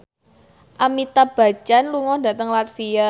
Amitabh Bachchan lunga dhateng latvia